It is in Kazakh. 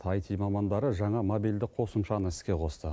айти мамандары жаңа мобильдік қосымшаны іске қосты